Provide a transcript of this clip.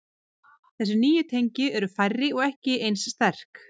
Þessi nýju tengi eru færri og ekki eins sterk.